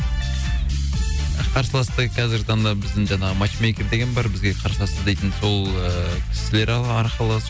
қарсыласты қазіргі таңда біздің жаңағы матч мейкер деген бар бізге қарсылас іздейтін сол ы кісілер арқылы